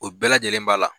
O bɛɛ lajɛlen b'a la